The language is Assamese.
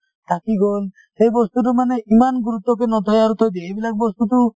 থাকি গল সেই বস্তুতো মানে ইমান গুৰুত্বকে নথয়ে আৰু থৈ দিয়ে এইবিলাক বস্তুতো